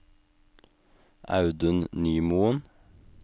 Audun Nymoen